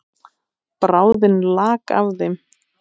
Bráðin lak af þeim.